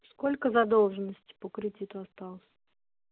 сколько задолженность по кредиту осталось